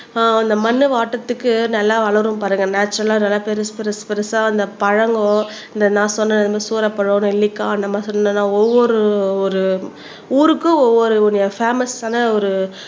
ஆஹ் அந்த மண்ணை வாட்டறதுக்கு நல்லா வளரும் பாருங்க நேச்சரல்லா நல்லா பெருசு பெருசு பெருசா இந்த பழங்கோ இந்த நான் சொன்னேன் இந்த மாறி சூரப்பழம் நெல்லிக்காய் அந்த ஒவ்வொரு ஒரு ஊருக்கு ஒவ்வொரு பேமஸ் ஆன ஒரு